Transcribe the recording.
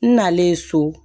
N nalen so